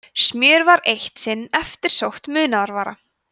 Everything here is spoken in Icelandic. smjör var eitt sinn eftirsótt munaðarvara